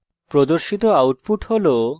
প্রদর্শিত output হল